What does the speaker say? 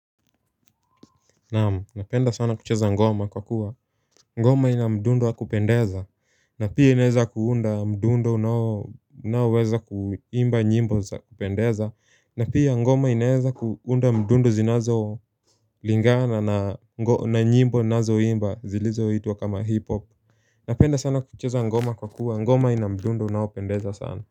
Naam, napenda sana kucheza ngoma kwa kuwa, ngoma ina mdundo wa kupendeza. Na pia inaweza kuunda mdundo unaoweza kuimba nyimbo za kupendeza. Na pia ngoma inaweza kuunda mdundo zinazolingana na nyimbo ninazoimba zilizoitwa kama hip-hop. Napenda sana kucheza ngoma kwa kuwa, ngoma ina mdundu unaopendeza sana.